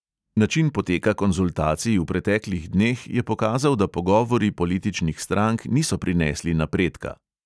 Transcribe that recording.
"Način poteka konzultacij v preteklih dneh je pokazal, da pogovori političnih strank niso prinesli napredka."